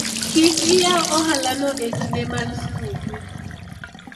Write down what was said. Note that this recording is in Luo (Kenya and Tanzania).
kik iyaw ohala no e kinde mag skuku